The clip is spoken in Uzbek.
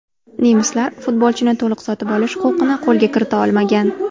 Nemislar futbolchini to‘liq sotib olish huquqini qo‘lga kirita olmagan.